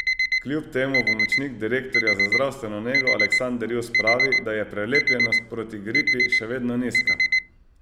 Kljub temu pomočnik direktorja za zdravstveno nego Aleksander Jus pravi, da je prelepljenost proti gripi še vedno nizka.